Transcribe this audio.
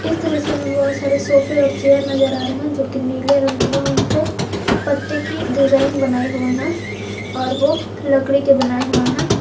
इस तरह से हमें बहुत सारे सोफे और चेयर नजर आ रहे हैं जो कि नीले रंग के हैं उन पे पत्ते की डिजाइन बनाई हुई हैं और वो लकड़ी के बनाए हुए हैं।